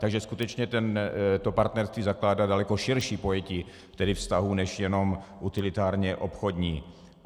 Takže skutečně to partnerství zakládá daleko širší pojetí vztahů než jenom utilitárně obchodní.